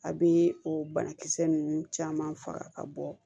A bɛ o banakisɛ ninnu caman faga ka bɔ